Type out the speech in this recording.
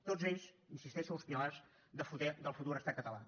tots ells hi insisteixo els pilars del futur estat català